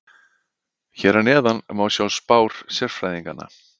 Hér að neðan má sjá spár sérfræðinganna.